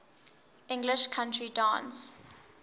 english country dance